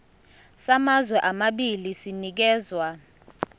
samazwe amabili sinikezwa